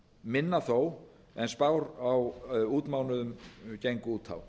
minna þó en spár á útmánuðum gengu út á